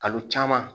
Kalo caman